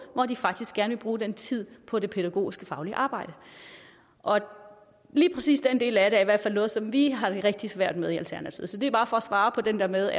hvor de faktisk gerne vil bruge den tid på det pædagogiske og faglige arbejde lige præcis den del af det er i hvert fald noget som vi har det rigtig svært med i alternativet så det er bare for at svare på det der med